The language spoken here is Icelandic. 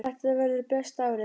Þetta verður besta árið.